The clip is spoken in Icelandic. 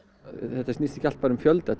þetta snýst ekki allt um fjölda